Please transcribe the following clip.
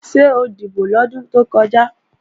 Ṣé o dìbò lọ́dún tó kọjá?